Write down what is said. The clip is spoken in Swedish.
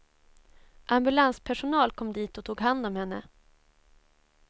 Ambulanspersonal kom dit och tog hand om henne.